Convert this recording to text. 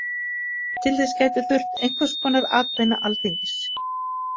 Til þess gæti þurft einhvers konar atbeina Alþingis.